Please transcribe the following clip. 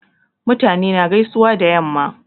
Mutane na gaisuwa da yamma